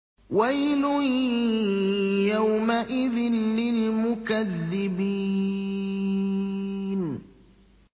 وَيْلٌ يَوْمَئِذٍ لِّلْمُكَذِّبِينَ